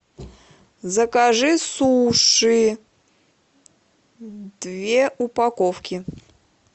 закажи суши две упаковки